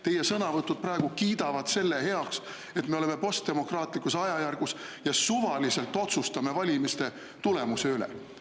Teie sõnavõtud praegu kiidavad selle heaks, et me oleme postdemokraatlikus ajajärgus ja otsustame suvaliselt valimiste tulemuse üle.